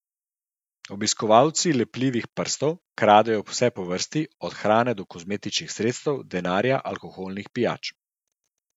Obiskovalci lepljivih prstov kradejo vse po vrsti, od hrane do kozmetičnih sredstev, denarja, alkoholnih pijač ...